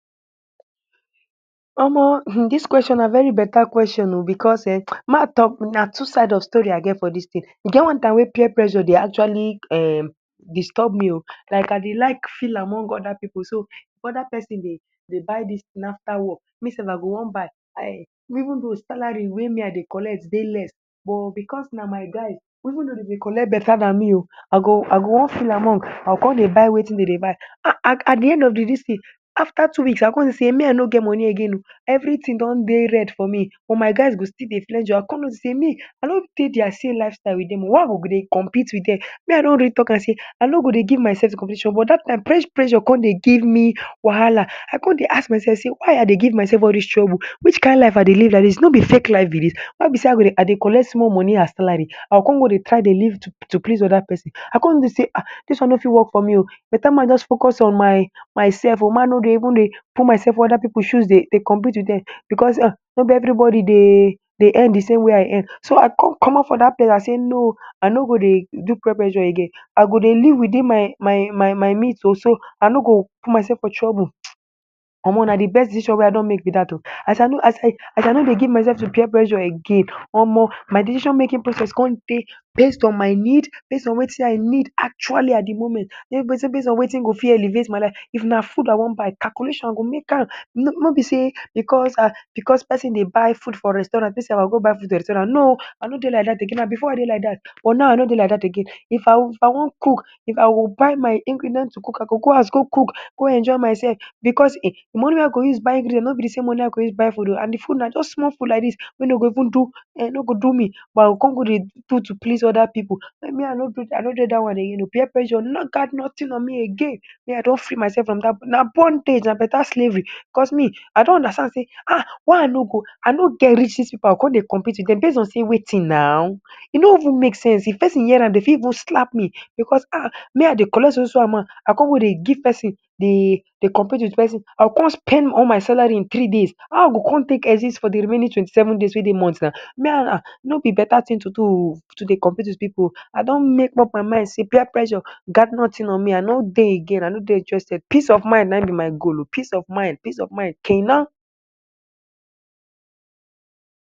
Omo um dis question na very beta question ooo. Because eh, ma talk na two side of story i get for dis thing e get one-time wey peer pressure dey actually um disturb me oo, like I dey like feel among oda pipu. So, if oda persin dey buy dey buy dis thing after work, me self I go want buy um, even though salary wey me I dey collect dey less, but because na my guys, even dough dem dey collect beta than me ooo, I go I go want feel among, I con dey buy wetin dem dey buy, at de end of de dis thing, after two weeks, I come dey see sey me I no get money again ooo. Everything dey red for me, but my guys go still dey flenjo. I come notice sey me I no dey deir same lifestyle with dem ooo. Why I go go dey compete with dem? Me, I don really talk am sey I no go dey give myself to competition. But dat time, pressure come dey give me wahala. I come dey ask myself sey why I dey give myself all dis trouble. Which kind life I dey live like dis no be fake life be dis.why be sey I go dey I dey collect small money as salary, I go come go dey try dey live to please oda persin? I come dey sey ah, dis one no fit work for me ooo. Beta make i just focus on my myself ooo. Make i no dey even put myself for oda pipu shoes, dey dey compete with dem. Because um, no be everybody dey dey earn de same way I earn. So, I come come out for dat place, I sey no, I no go dey do peer pressure again. I go dey live within my means ooo, so I no go put myself for trouble. um Omo, na de best decision wey I make with dat ooo. As I no dey give myself to peer pressure again, omo, my decision-making process come dey based on my need, based on wetin I need actually at de moment, based on wetin go fit elevate my life. If na food I want buy, calculation I go make am. No be sey because because persin dey buy food for restaurant, me sef I go buy food for restaurant. No, I no dey like dat again na, before I dey like dat, but now I no dey like dat again. If I want I want cook, if I go buy my ingredient to cook, I go go house go cook go enjoy myself. Because eh, de money I go use buy ingredient no be de same money I go use buy food ooo, and de food na just small food like dis wey dey go even do eh no go do me. But I go come go dey do to please oda pipu? Me, I no dey dat one again ooo. Peer pressure no gat nothing on me again Me, I don free myself from dat na bondage, na beta slavery. Because me, I don understand sey ah, why I no go I no get riches pipu, I go come dey compete with dem? Based on sey wetin now, e no even make sense. If persin hear am, dey fit even slap me. Because ah, me I dey collect so so amount, I go come dey give persin dey dey compete with persin? I go come spend all my salary in three days? How I go come take exist for de remaining twenty-seven days wey dey month na? Now, me, um no be beta thing to do ooo, to dey compete with pipu ooo. I don make up my mind sey peer pressure no gat nothing on me. I no dey again, I no dey interested. Peace of mind na im be my goal ooo. Peace of mind, peace of mind kenan